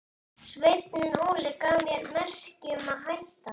Sveinn Óli gaf mér merki um að hætta.